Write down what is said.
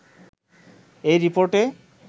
এই রিপোর্টে